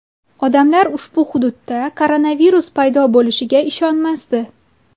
Odamlar ushbu hududda koronavirus paydo bo‘lishiga ishonmasdi.